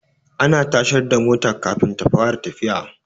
Ana tashar da mota Kafin ta fara tafiya